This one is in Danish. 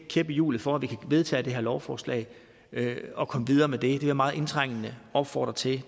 kæp i hjulet for at vi kan vedtage det her lovforslag og komme videre med vil jeg meget indtrængende opfordre til